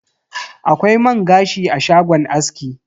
Akwai man gashi a shagon aski.